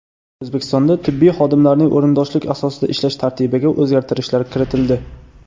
O‘zbekistonda tibbiy xodimlarning o‘rindoshlik asosida ishlash tartibiga o‘zgartirishlar kiritildi.